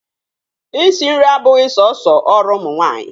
Isi nri abụghị sọsọ ọrụ ụmụ nwaanyị.